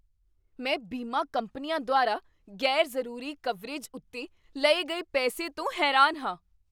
ਮੈਂ ਬੀਮਾ ਕੰਪਨੀਆਂ ਦੁਆਰਾ ਗ਼ੈਰ ਜਰੂਰੀ ਕਵਰੇਜ ਉੱਤੇ ਲਏ ਗਏ ਪੈਸੇ ਤੋਂ ਹੈਰਾਨ ਹਾਂ।